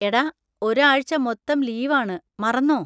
എടാ, ഒരു ആഴ്ച്ച മൊത്തം ലീവ് ആണ്; മറന്നോ?